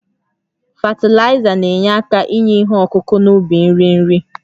Fatịlaịza na-enye aka inye ihe ọkụkụ n'ubi nri nri